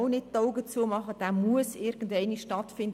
Dieser muss auch irgendwann einmal stattfinden.